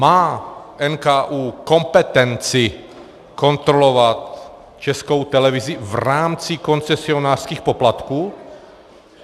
Má NKÚ kompetenci kontrolovat Českou televizi v rámci koncesionářských poplatků?